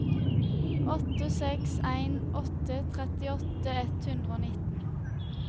åtte seks en åtte trettiåtte ett hundre og nitten